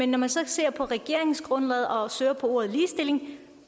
når man ser på regeringsgrundlaget og søger på ordet ligestilling